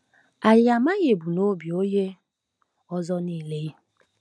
Anyị amaghị ebumnobi onye ọzọ niile.